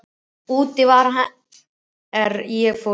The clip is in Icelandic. Úti var hann er ég fór inn.